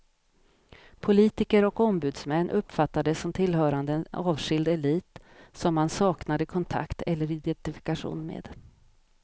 Politiker och ombudsmän uppfattades som tillhörande en avskild elit som man saknade kontakt eller identifikation med.